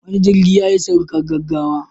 Wani jirgi yayi saukar gaggawa.